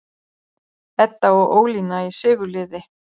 Edda og Ólína í sigurliði